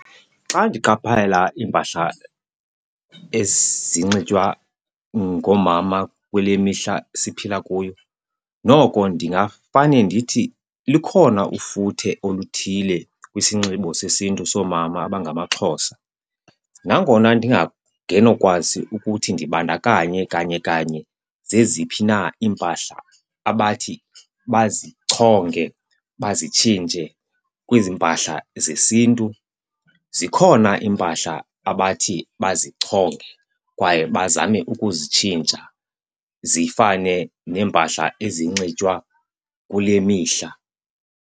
Xa ndiqaphela iimpahla ezinxitywa ngoomama kule mihla siphila kuyo, noko ndingafane ndithi likhona ufuthe oluthile kwisinxibo sesiNtu soomama abangamaXhosa. Nangona ukuthi ndibandakanye kanye kanye zeziphi na iimpahla abathi bazichonge bazitshintshe kwezi mpahla zesiNtu, zikhona iimpahla abathi bazichonge kwaye bazame ukuzitshintsha zifane neempahla ezinxitywa kule mihla.